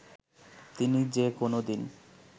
তিনি যে কোনদিন